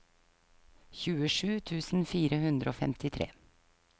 tjuesju tusen fire hundre og femtitre